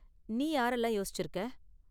நீ யாரெல்லாம் யோசிச்சிருக்க?